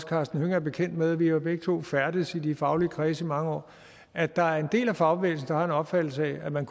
karsten hønge er bekendt med vi har begge to færdedes i de faglige kredse i mange år at der er en del af fagbevægelsen der har den opfattelse at man